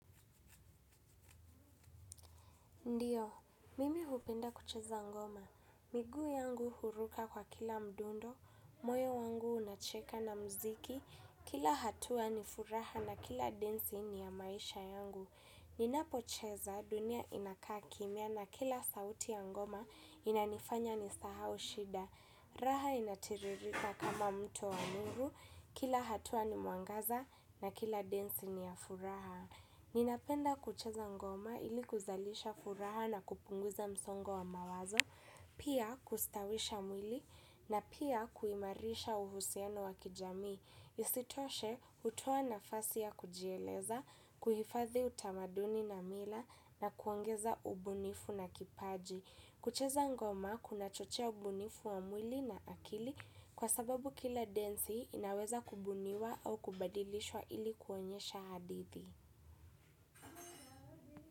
Ndiyo, mimi hupenda kucheza ngoma. Miguu yangu huruka kwa kila mdundo, moyo wangu unacheka na mziki, kila hatua ni furaha na kila densi ni ya maisha yangu. Ninapocheza dunia inakaa kimya na kila sauti ya ngoma inanifanya nisahau shida. Raha inatiririka kama mto wa nuru, kila hatua ni mwangaza na kila densi ni ya furaha. Ninapenda kucheza ngoma ili kuzalisha furaha na kupunguza msongo wa mawazo, pia kustawisha mwili na pia kuimarisha uhusiano wa kijamii. Isitoshe hutoa nafasi ya kujieleza, kuhifadhi utamaduni na mila na kuongeza ubunifu na kipaji. Kucheza ngoma kunachochea ubunifu wa mwili na akili kwa sababu kila densi inaweza kubuniwa au kubadilishwa ili kuonyesha hadithi.